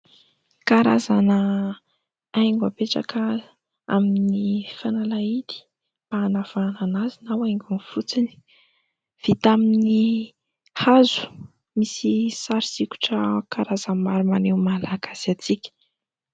Karazana haingo apetraka amin'ny fanalahidy mba hanavana anazy na ho haingony fotsiny. Vita amin'ny hazo, misy sary sikotra karazany maro maneho ny maha Malagasy antsika.